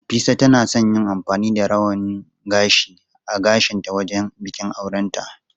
Nafisa tana son yin amfani da rawanin gashi a gashinta wajen bikin aurenta.